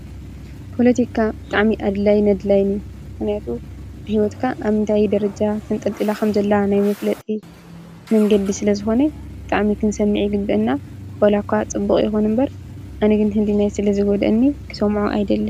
ፓለቲካ ጠቃምን ጎዳእን እዩ። እዚ ኣብዚ ምስሊ ዘሎ ከዓ ኣብ ኢ/ያ ንነዊሕ እዋን ዝፀነሐ ፓለቲከኛ እዩ።